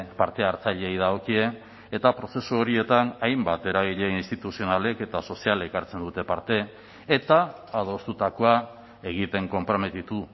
parte hartzaileei dagokie eta prozesu horietan hainbat eragile instituzionalek eta sozialek hartzen dute parte eta adostutakoa egiten konprometitu